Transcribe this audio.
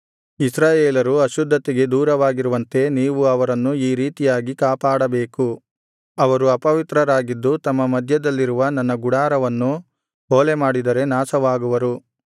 ಇಸ್ರಾಯೇಲರು ಅಶುದ್ಧತೆಗೆ ದೂರವಾಗಿರುವಂತೆ ನೀವು ಅವರನ್ನು ಈ ರೀತಿಯಾಗಿ ಕಾಪಾಡಬೇಕು ಅವರು ಅಪವಿತ್ರರಾಗಿದ್ದು ತಮ್ಮ ಮಧ್ಯದಲ್ಲಿರುವ ನನ್ನ ಗುಡಾರವನ್ನು ಹೊಲೆಮಾಡಿದರೆ ನಾಶವಾಗುವರು